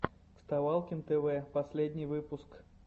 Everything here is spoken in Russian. вставалкин тв последний выпуск